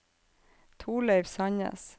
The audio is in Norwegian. Thorleif Sandnes